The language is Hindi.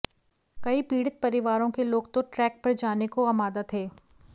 कई पीडि़त परिवारों के लोग तो ट्रैक पर जाने को आमादा थे